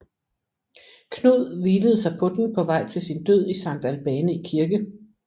Knud hvilede sig på den på vej til sin død i Sankt Albani Kirke